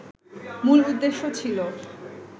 মূল উদ্দেশ্য ছিল